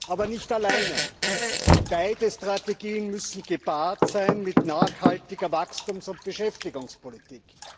Aber nicht alleine. Beide Strategien müssen gepaart sein mit nachhaltiger Wachstums und Beschäftigungspolitik.